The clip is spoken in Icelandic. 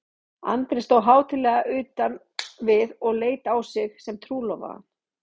Andri stóð hátíðlega utan við og leit á sig sem trúlofaðan.